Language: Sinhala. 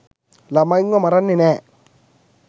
ලමයින්ව මරන්නෙ නෑ.